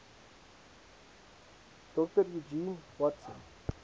dr eugene watson